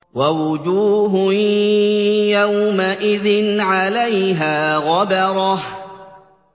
وَوُجُوهٌ يَوْمَئِذٍ عَلَيْهَا غَبَرَةٌ